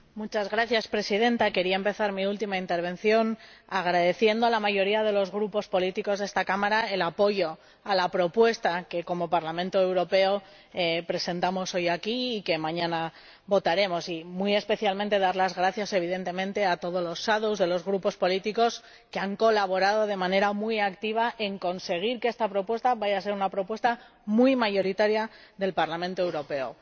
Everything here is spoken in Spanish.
Señora Presidenta, quería empezar mi última intervención agradeciendo a la mayoría de los grupos políticos de esta Cámara el apoyo a la propuesta que como Parlamento Europeo presentamos hoy aquí y que mañana votaremos, y muy especialmente dar las gracias, evidentemente, a todos los ponentes alternativos de los grupos políticos que han colaborado de manera muy activa en conseguir que esta propuesta vaya a ser una propuesta muy mayoritaria del Parlamento Europeo.